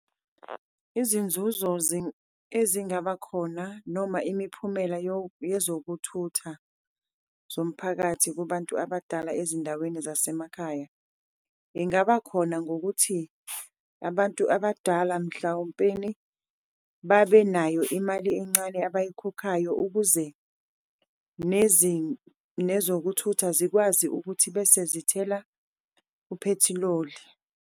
Izinzuzo ezingaba khona noma imiphumela yezokuthutha zomphakathi kubantu abadala ezindaweni zasemakhaya, ingaba khona ngokuthi abantu abadala mhlawumpeni babenayo imali encane abayikhokhayo, ukuze nezokuthutha zikwazi ukuthi bese zithela uphethiloli.